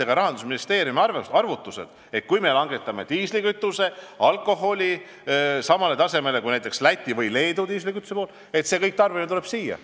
Ka Rahandusministeeriumi arvutused ei ütle, et kui me langetame diislikütuse ja alkoholi aktsiisimäärad samale tasemele, kui näiteks on Lätis või Leedus, siis tuleb kogu tarbimine siia.